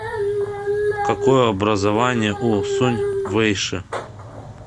какое образование у сунь вэйши